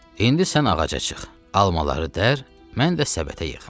İndi sən ağaca çıx, almaları dər, mən də səbətə yığım.